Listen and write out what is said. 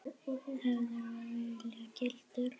verður að hafa verið gildur.